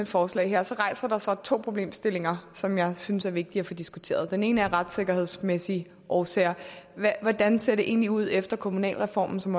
forslag rejser der sig to problemstillinger som jeg synes er vigtige at få diskuteret den ene er af retssikkerhedsmæssige årsager hvordan ser det egentlig ud efter kommunalreformen som